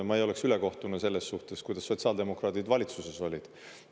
Ma ei oleks ülekohtune selles suhtes, kuidas sotsiaaldemokraadid valitsuses olid.